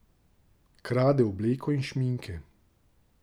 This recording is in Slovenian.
Krade obleko in šminke.